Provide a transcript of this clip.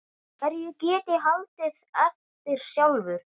Hverju get ég haldið eftir sjálfur?